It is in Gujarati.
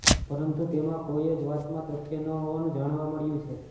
પરંતુ તેમાં કોઇ જ વાતમાં તથ્ય ન હોવાનું જાણવા મળ્યું છે